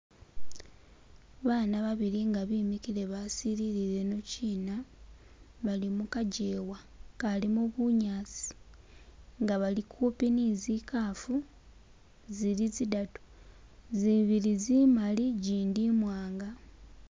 Baana babili nga bemikile basilile ino china bali mukajewa akalimo bunyaasi nga bali kuupi ni zikaafu zili zidatu, zibili zimali , ijindi imwanga.